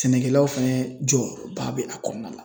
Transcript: Sɛnɛkɛlaw fɛnɛ jɔ ba be a kɔnɔna la.